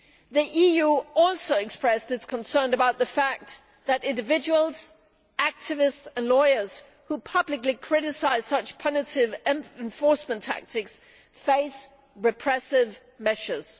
The EU also expressed its concern about the fact that individuals, activists and lawyers who publicly criticise such punitive enforcement tactics face repressive measures.